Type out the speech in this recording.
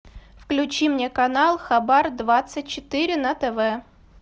включи мне канал хабар двадцать четыре на тв